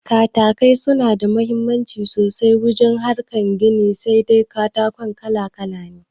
Katakai suna da mahimmanci sosai wurin harkar gini, sai dai katako kala kala ne